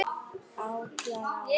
Átján ár.